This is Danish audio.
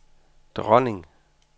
dronning